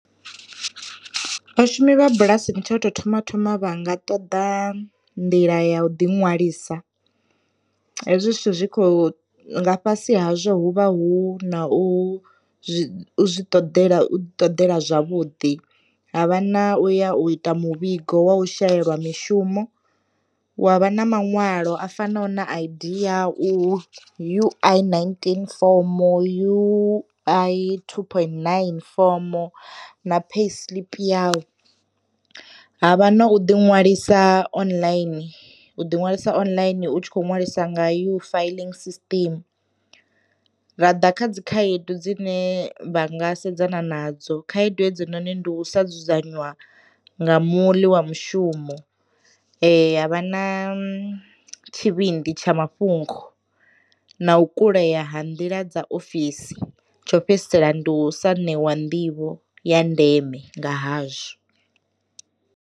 Vhashumi vha bulasini tsha u tou thoma thoma vhanga ṱoḓa nḓila ya u ḓi ṅwalisa, hezwi zwithu zwi kho nga fhasi hazwo hu vha hu na u zwi ṱoḓela ṱoḓela zwavhuḓi, havha na u ya u ita muvhigo wa u shelelwa mishumo, wa vha na maṅwalo a fanaho na a I_D yau, U_I ninteen fomo, u_i two point nine fomo na payslip yau. Havha na u ḓi ṅwalisa online u ḓiṅwalisa online u tshi kho ṅwalisa nga ya u filling system, ra ḓa kha dzi khaedu dzine vha nga sedzana nadzo khaedu hedzo noni ndi u sa dzudzanywa nga muḽi wa mushumo, ya vha na tshivhindi tsha mafhungo, na u kulea ha nḓila dza ofisi tsho fhedzisela ndi u sa ṋewa nḓivho ya ndeme nga hazwo.